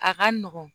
A ka nɔgɔn